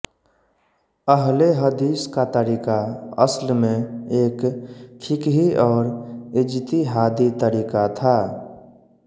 अहले हदीस का तरीक़ा अस्ल में एक फ़िक्ही और इज्तिहादी तरीक़ा था